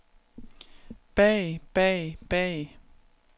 bag bag bag